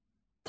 Taxıl.